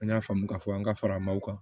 An y'a faamu ka fɔ an ka faramaw kan